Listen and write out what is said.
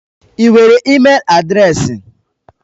Ị nwere ịmel adreesị?